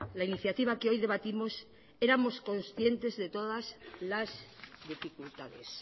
la iniciativa que hoy debatimos éramos conscientes de todas las dificultades